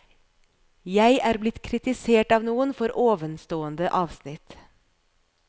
Jeg er blitt kritisert av noen for ovenstående avsnitt.